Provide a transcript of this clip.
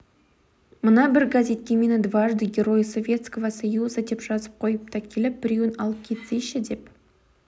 мына бір газетке мені дважды герой советского союза деп жазып қойыпты келіп біреуін алып кетсейші деп